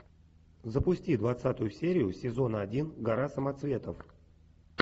запусти двадцатую серию сезона один гора самоцветов